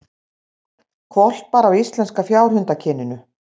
Hvolpar af íslenska fjárhundakyninu